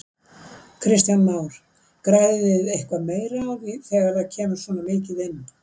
Kristján Már: Græðið þið eitthvað meira á því þegar það kemur svona mikið inn?